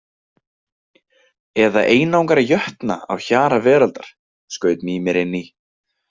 Eða einangra jötna á hjara veraldar, skaut Mímir inn í.